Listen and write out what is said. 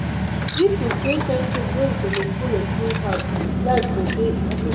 if we create timetable wey we go dey folo clean house life go dey easy.